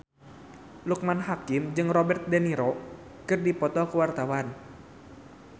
Loekman Hakim jeung Robert de Niro keur dipoto ku wartawan